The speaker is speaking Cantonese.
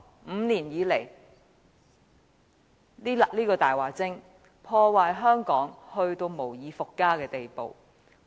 五年來，這個"大話精"把香港破壞至無以復加的地步。